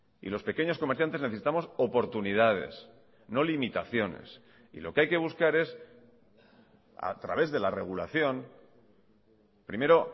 y los pequeños comerciantes necesitamos oportunidades no limitaciones y lo que hay que buscar es a través de la regulación primero